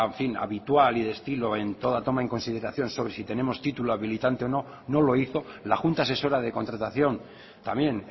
habitual y de estilo en toda toma en consideración sobre si tenemos título habilitante o no no lo hizo la junta asesora de contratación también